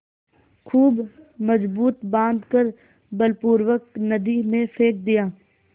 खूब मजबूत बॉँध कर बलपूर्वक नदी में फेंक दिया